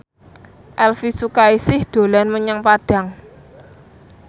Elvi Sukaesih dolan menyang Padang